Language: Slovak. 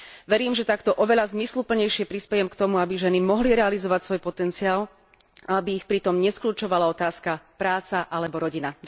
Verím, že takto oveľa zmysluplnejšie prispejem k tomu, aby ženy mohli realizovať svoj potenciál a aby ich pri tom neskľučovala otázka Práca alebo rodina?